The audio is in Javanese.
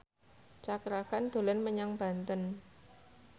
Cakra Khan dolan menyang Banten